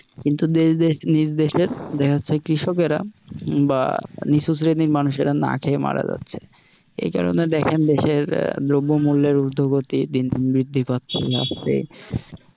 কিন্তু দেশ যে নিজ দেশে দেখা যাচ্ছে কৃষকেরা বা নিচু শ্রেণীর মানুষেরা না খেয়ে মারা যাচ্ছে, এই কারণে দেখেন দেশের আহ দ্রব্যমূল্যর উদ্ধপতি দিন দিন বৃদ্ধি পাচ্ছে